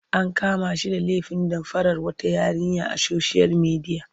An kama shi da lefin damfarar wata yarinya a soshiyal midiya.